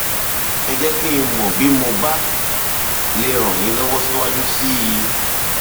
ẹ jẹ kí n mọ bí mo bá lè ràn yín lọwọ síwájú sí i